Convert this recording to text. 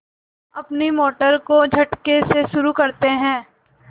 अपनी मोटर को झटके से शुरू करते हैं